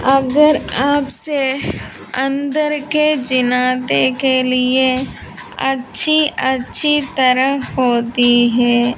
अगर आपसे अंदर के जिनादे के लिए अच्छी अच्छी तरह होती है।